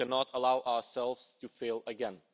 we cannot allow ourselves to fail again.